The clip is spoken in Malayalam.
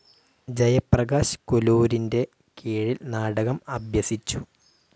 ജയപ്രകാശ് കുലൂരിൻ്റെ കീഴിൽ നാടകം അഭ്യസിച്ചു.